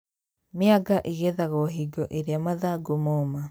Mĩanga ĩgethagwo hingo iria mathangũ moma